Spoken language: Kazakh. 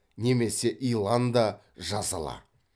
немесе илан да жазала